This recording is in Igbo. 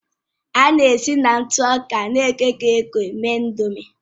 A na-esi na ntụ ọka na-ekoghị eko mee Ị̀ndómị́